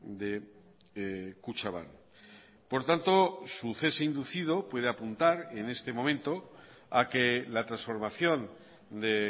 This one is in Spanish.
de kutxabank por tanto su cese inducido puede apuntar en este momento a que la transformación de